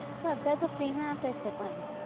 તો અત્યારે તો free માં આપે છે પણ